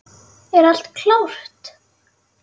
Er allt klárt?